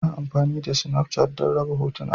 Ana amfani da Snafchat don raba hotuna.